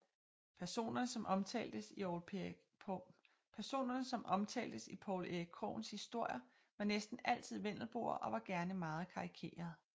Personerne som omtaltes i Poul Erik Krogens historier var næsten altid vendelboer og var gerne meget karikerede